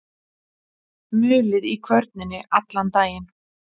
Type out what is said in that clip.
Mulið í kvörninni allan daginn.